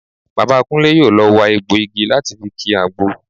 Bàbá Kúnlé yóò lọ wa egbọ̀ igi láti fi ki àgbo